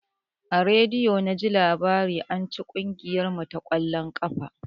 A rediyo naji labarin anci kugiyar mu ta ƙwallon ƙafa.